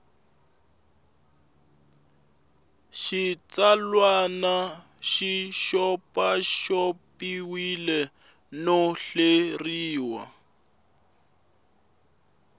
xitsalwana xi xopaxopiwile no hleriwa